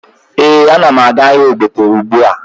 Ee, ana m aga ahịa ogbete ugbua